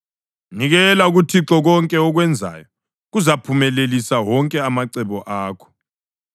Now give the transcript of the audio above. Nikela kuThixo konke okwenzayo, kuzaphumelelisa wonke amacebo akho.